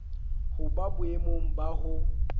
ho ba boemong ba ho